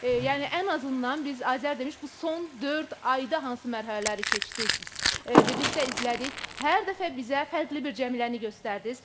Yəni ən azından biz Azər demiş, bu son dörd ayda hansı mərhələləri keçdiz, birlikdə izlədik, hər dəfə bizə fərqli bir Cəmiləni göstərdiz.